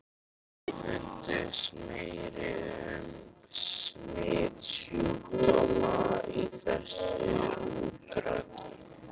EKKI FUNDUST MERKI UM SMITSJÚKDÓMA Í ÞESSU ÚRTAKI.